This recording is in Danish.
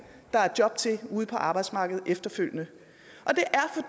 er job til ude på arbejdsmarkedet efterfølgende